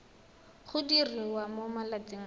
go diriwa mo malatsing a